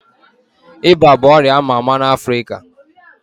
Iba bụ ọrịa ama ama na Africa